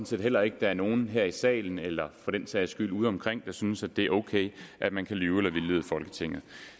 set heller ikke der er nogen her i salen eller for den sags skyld udeomkring der synes at det er okay at man kan lyve for eller vildlede folketinget